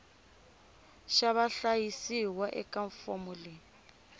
xa vahlayisiwa eka fomo yo